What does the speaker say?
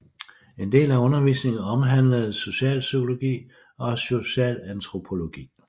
En del af undervisningen omhandlede socialpsykologi og socialantropologi